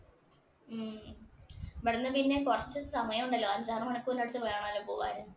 ഉം ഇവിടുന്ന് പിന്നെ കുറച്ച് സമയം ഉണ്ടല്ലോ അഞ്ചാറ് മണിക്കൂറിന് അടുത്ത് വേണമല്ലോ പോകാൻ.